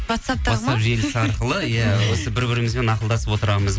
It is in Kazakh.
ватсаптағы ватсап желісі арқылы иә осы бір бірімізбен ақылдасып отырамыз